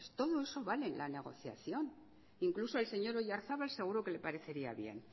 todo eso vale en la negociación incluso al señor oyarzábal seguro que le parecería bien